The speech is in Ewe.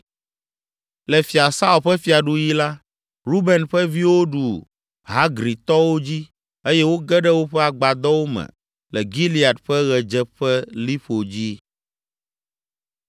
Le Fia Saul ƒe fiaɖuɣi la, Ruben ƒe viwo ɖu Hagritɔwo dzi eye woge ɖe woƒe agbadɔwo me le Gilead ƒe ɣedzeƒeliƒo dzi.